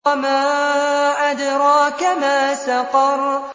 وَمَا أَدْرَاكَ مَا سَقَرُ